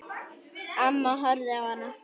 Amma horfði á hana.